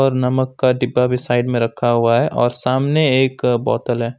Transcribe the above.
नमक का डिब्बा भी साइड में रखा हुआ है और सामने एक बोतल है।